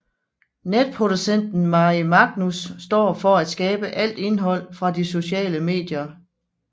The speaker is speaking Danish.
Netproducenten Mari Magnus står for at skabe alt indhold fra de sociale medier